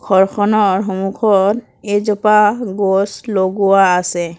ঘৰখনৰ সন্মুখত এজোপা গছ লগোৱা আছে।